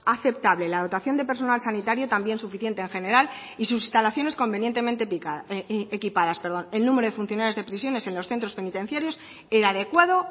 aceptable la dotación de personal sanitario también suficiente en general y sus instalaciones convenientemente equipadas el número de funcionarios de prisiones en los centros penitenciarios era adecuado